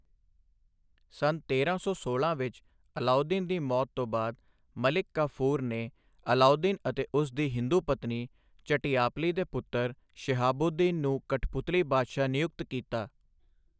ਸੰਨ ਤੇਰਾਂ ਸੌ ਸੋਲਾਂ ਵਿੱਚ ਅਲਾਉਦੀਨ ਦੀ ਮੌਤ ਤੋਂ ਬਾਅਦ, ਮਲਿਕ ਕਾਫ਼ੂਰ ਨੇ ਅਲਾਊਦੀਨ ਅਤੇ ਉਸ ਦੀ ਹਿੰਦੂ ਪਤਨੀ ਝੱਟੀਆਪਲੀ ਦੇ ਪੁੱਤਰ ਸ਼ਿਹਾਬੂਦੀਨ ਨੂੰ ਕਠਪੁਤਲੀ ਬਾਦਸ਼ਾਹ ਨਿਯੁਕਤ ਕੀਤਾ।